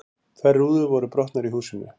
Tvær rúður voru brotnar í húsinu